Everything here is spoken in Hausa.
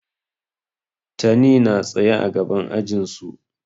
Tani na tsaye a gaban ajin su.